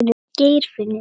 Geirfinnur